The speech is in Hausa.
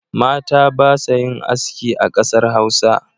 Mata ba sa yin aski a kasar Hausa.